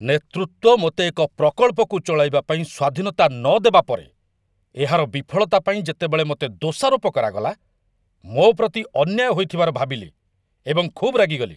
ନେତୃତ୍ୱ ମୋତେ ଏକ ପ୍ରକଳ୍ପକୁ ଚଳାଇବା ପାଇଁ ସ୍ୱାଧୀନତା ନଦେବା ପରେ, ଏହାର ବିଫଳତା ପାଇଁ ଯେତେବେଳେ ମୋତେ ଦୋଷାରୋପ କରାଗଲା, ମୋ ପ୍ରତି ଅନ୍ୟାୟ ହୋଇଥିବାର ଭାବିଲି ଏବଂ ଖୁବ୍ ରାଗିଗଲି